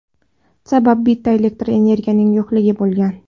Sabab bitta elektr energiyaning yo‘qligi bo‘lgan.